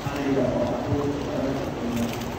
Ariga oo caruurtu aad u cunaan.